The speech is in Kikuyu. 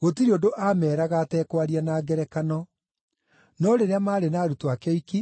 Gũtirĩ ũndũ aameeraga atekwaria na ngerekano. No rĩrĩa maarĩ na arutwo ake oiki,